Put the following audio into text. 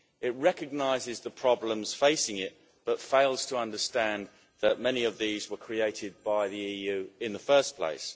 It recognises the problems facing it, but fails to understand that many of these were created by the EU in the first place.